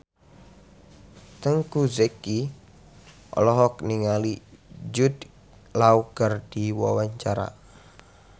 Teuku Zacky olohok ningali Jude Law keur diwawancara